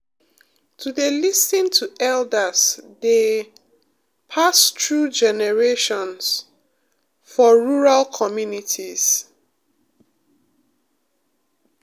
to dey lis ten to elders dey um pass through generations um for rural communities pause um um.